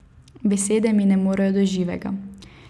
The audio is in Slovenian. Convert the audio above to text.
Besede mi ne morejo do živega.